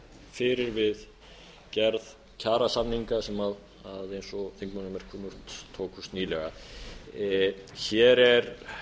fyrir við gerð kjarasamninga sem eins og þingmönnum er kunnugt tókust nýlega hér er